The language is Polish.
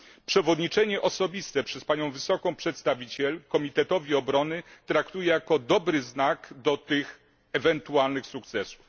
Przewodniczenie osobiste przez Panią Wysoką Przedstawiciel Komitetowi Obrony traktuję jako dobry znak tych ewentualnych sukcesów.